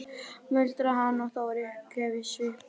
muldraði hann og það var uppgjöf í svipnum.